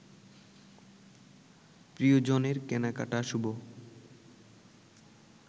প্রিয়জনের কেনাকাটা শুভ